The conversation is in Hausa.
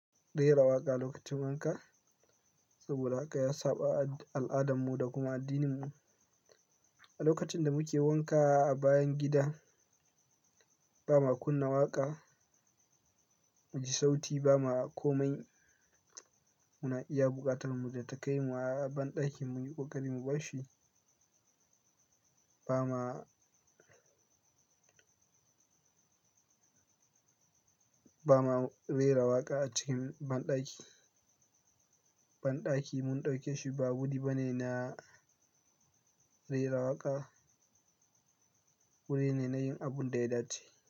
Rera waƙa lokacin wanka, saboda haka ya saba a al'adarmu da kuma addininmu. A lokacin da muke wanka a bayan gida, ba ma kunna waƙa, mu ji sauti ba ma komai. Muna iya buƙatar mu da ta kai mu a banɗakin mu yi ƙoƙari mu bar shi, ba ma, ba ma rera waƙa a cikin banɗaki. Banɗaki mun ɗauke shi ba wuri bane na rera waƙa, wuri ne na yin abun da ya dace.